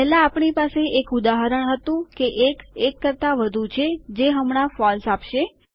પહેલાં આપણી પાસે એક ઉદાહરણ હતું કે ૧ ૧ કરતાં વધુ છે જે હમણાં ફોલ્સ આપશે